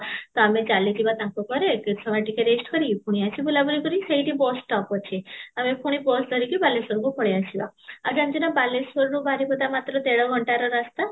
ତ ଆମେ ଚାଲିଯିବା ତାଙ୍କ ଘରେ ଟିକେ ସମୟ ଟିକେ rest କରି ପୁଣି ଆସିବୁ ବୁଲା ବୁଲି କରି ସେଇଠି bus stop ଅଛି ଆମେ ପୁଣି bus ଧରିକି ପୁଣି ବାଲେଶ୍ୱର ପଳେଇ ଆସିବା ଆଉ ଜାଣିଛୁ ନା ବାଲେଶ୍ୱର ରୁ ବାରିପଦା ମାତ୍ର ଦେଢ଼ ଘଣ୍ଟାର ରାସ୍ତା